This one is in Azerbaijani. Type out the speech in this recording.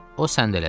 O səndələdi.